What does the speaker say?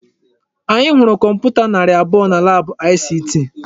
Anyị hụrụ kọmputa narị abụọ na laabụ ICT.